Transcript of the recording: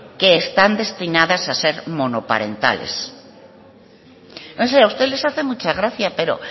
que están destinadas a ser monoparentales no sé a ustedes les hace mucha gracia pero